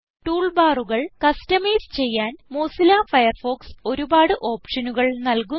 tool ബാറുകൾ customise ചെയ്യാൻ Mozilla Firefox ഒരുപാട് ഓപ്ഷനുകൾ നല്കുന്നു